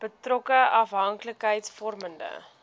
betrokke afhanklikheids vormende